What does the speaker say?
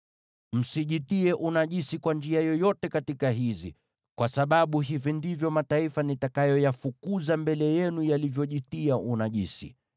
“ ‘Msijitie unajisi kwa njia yoyote katika hizi, kwa sababu hivi ndivyo mataifa nitakayoyafukuza mbele yenu yalivyojitia unajisi.